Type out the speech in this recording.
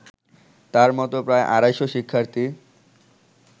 তার মতো প্রায় আড়াইশ শিক্ষার্থী